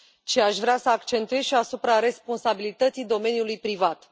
ci aș vrea să pun accentul și asupra responsabilității domeniului privat.